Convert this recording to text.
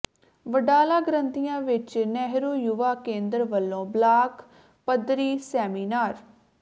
ਵਡਾਲਾ ਗ੍ਰੰਥੀਆਂ ਵਿੱਚ ਨਹਿਰੂ ਯੁਵਾ ਕੇਂਦਰ ਵੱਲੋਂ ਬਲਾਕ ਪੱਧਰੀ ਸੈਮੀਨਾਰ